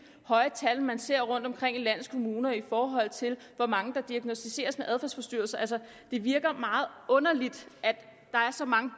høje tal man ser rundtomkring i landets kommuner i forhold til hvor mange der diagnosticeres med adfærdsforstyrrelser altså det virker meget underligt at der er så mange